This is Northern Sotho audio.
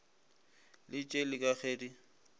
le tšeli ka ge di